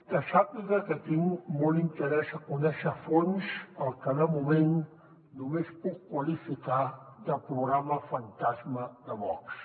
que sàpiga que tinc molt interès a conèixer a fons el que de moment només puc qualificar de programa fantasma de vox